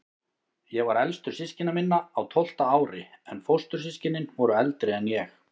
Ég var elstur systkina minna, á tólfta ári, en fóstur- systkinin voru eldri en ég.